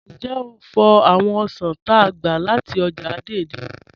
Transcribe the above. Njẹ́ o fò̩ awọn osàn t'á gba láti ọ́jà Dei-Dei?